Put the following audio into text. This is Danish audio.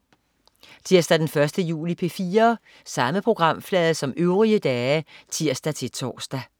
Tirsdag den 1. juli - P4: